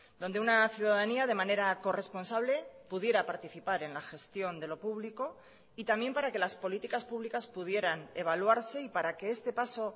donde una ciudadanía de manera corresponsable pudiera participar en la gestión de lo público y también para que las políticas públicas pudieran evaluarse y para que este paso